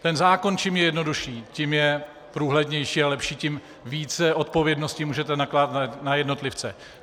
Ten zákon, čím je jednodušší, tím je průhlednější a lepší, tím více odpovědnosti můžete nakládat na jednotlivce.